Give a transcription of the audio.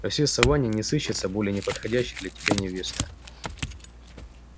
во всей саванне не сыщется более неподходящей для тебя невесты